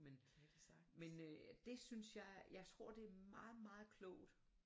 Men men øh det synes jeg jeg tror det er meget meget klogt